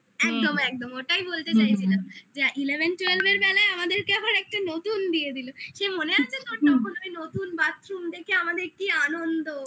একদম একদম ওটাই বলতে চাইছিলাম যে eleven twelve এর বেলায় আমাদেরকে আবার একটা নতুন দিয়ে দিল মনে আছে তোর না আমি নতুন বাথরুমকে দেখে আমাদের কি আনন্দ